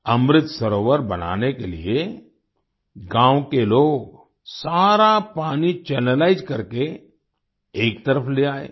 अमृत सरोवर बनाने के लिए गाँव के लोग सारा पानी चैनलाइज करके एक तरफ ले आए